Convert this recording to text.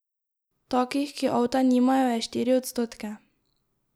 Takih, ki avta nimajo, je štiri odstotke.